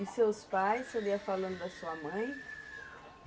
E seus pais, você falando da sua mãe?